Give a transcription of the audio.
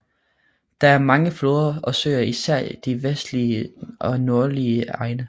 Der er mange floder og søer især i de vestlige og nordlige egne